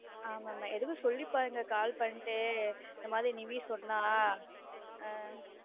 ஆமா மா எதுக்கும் சொல்லி பாருங்க call பண்ணிட்டு இந்த மாதிரி நிவீ சொன்னா ஆஹ்